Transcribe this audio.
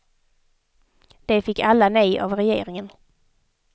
De fick alla nej av regeringen.